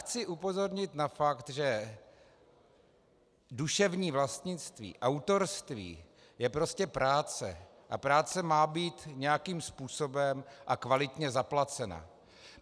Chci upozornit na fakt, že duševní vlastnictví, autorství, je prostě práce a práce má být nějakým způsobem a kvalitně zaplacena.